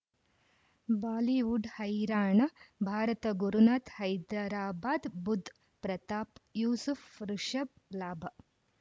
Bollywood ಹೈರಾಣ ಭಾರತ ಗುರುನಾತ್ ಹೈದರಾಬಾದ್ ಬುಧ್ ಪ್ರತಾಪ್ ಯೂಸುಫ್ ರಿಷಬ್ ಲಾಭ